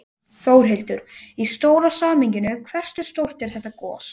Þórhildur: Í stóra samhenginu, hversu stórt er þetta gos?